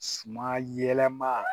Sumayɛlɛma